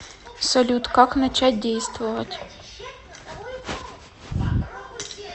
салют как начать действовать